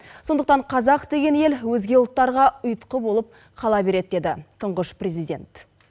сондықтан қазақ деген ел өзге ұлттарға ұйытқы болып қала береді деді тұңғыш президент